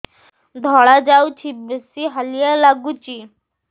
ଧଳା ଯାଉଛି ବେଶି ହାଲିଆ ଲାଗୁଚି